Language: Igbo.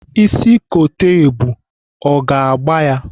Ịsị kote ebu, ọ ga-agba ya?